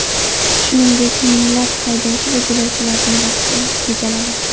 Shuningdek, minglab haydovchi va yo‘lovchilarining vaqti tejaladi.